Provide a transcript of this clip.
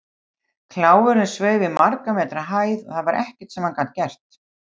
Kláfurinn sveif í margra metra hæð og það var ekkert sem hann gat gert.